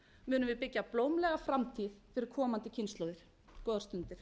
við byggja blómlega framtíð fyrir komandi kynslóðir góðar stundir